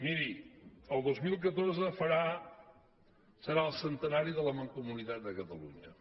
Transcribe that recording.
miri el dos mil catorze serà el centenari de la mancomunitat de catalunya